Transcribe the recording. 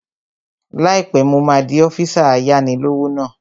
Láìpẹ́, mo máa di ọ́físà ayáni-lówó náà